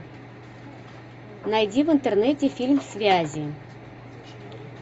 найди в интернете фильм связи